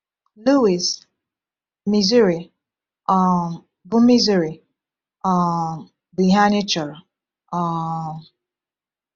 Louis, Missouri, um bụ Missouri, um bụ ihe anyị chọrọ. um